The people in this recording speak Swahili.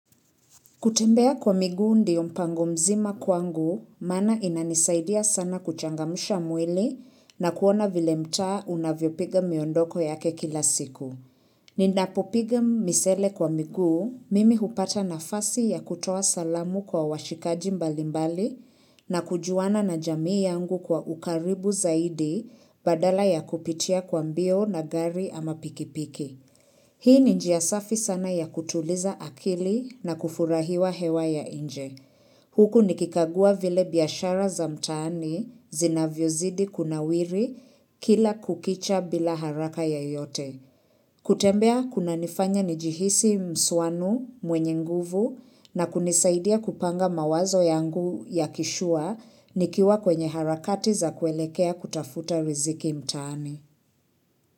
Kutembea kwa miguu ndiyo mpango mzima kwangu, maana inanisaidia sana kuchangamsha mwili na kuona vile mtaa unavyopiga miondoko yake kila siku. Ninapopiga misele kwa miguu, mimi hupata nafasi ya kutoa salamu kwa washikaji mbalimbali na kujuana na jamii yangu kwa ukaribu zaidi badala ya kupitia kwa mbio na gari ama pikipiki. Hii ni njia safi sana ya kutuliza akili na kufurahiwa hewa ya nje. Huku nikikagua vile biashara za mtaani zinavyozidi kunawiri kila kukicha bila haraka yeyote. Kutembea kunanifanya njihisi msuanu mwenye nguvu na kunisaidia kupanga mawazo yangu ya kishua nikiwa kwenye harakati za kuelekea kutafuta riziki mtaani.